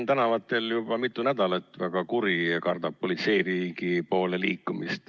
Rahvas on juba mitu nädalat tänavatel väga kuri olnud ja kardab politseiriigi poole liikumist.